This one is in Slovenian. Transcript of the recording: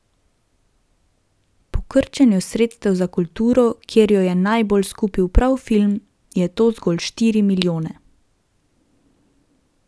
Po krčenju sredstev za kulturo, kjer jo je najbolj skupil prav film, je to zgolj štiri milijone.